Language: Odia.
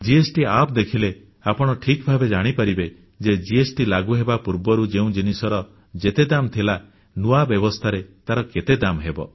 ଜିଏସଟି App ଦେଖିଲେ ଆପଣ ଠିକ ଭାବେ ଜାଣିପାରିବେ ଯେ ଜିଏସଟି ଲାଗୁହେବା ପୂର୍ବରୁ ଯେଉଁ ଜିନିଷର ଯେତେ ଦାମ୍ ଥିଲା ନୂଆ ବ୍ୟବସ୍ଥାରେ ତାର ଦାମ୍ କେତେ ହେବ